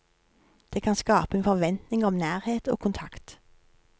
Det kan skape en forventning om nærhet og kontakt.